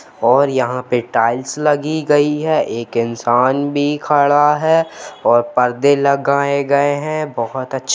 और यहां पर टाइल्स लगी गई है एक इंसान भी खड़ा है और पर्दे लगाए गए हैं बहुत अच्छा--